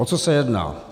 O co se jedná?